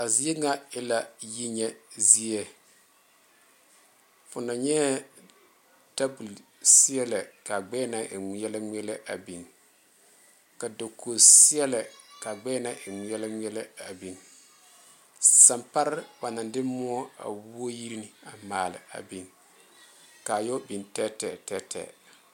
A zie ŋa e la yinyɛ zie fo na nyɛ tabol seɛle kaa gbeɛ naŋ e ŋmɛlɛ ŋmɛlɛ a biŋ ka dakogi seɛle kaa gbeɛ naŋ e ŋmɛlɛ ŋmɛlɛ a biŋ sanpare ba naŋ de moɔ a woɔyiri ne a maale a biŋ kaa yɔ biŋ tɛɛtɛɛ tɛɛtɛɛ.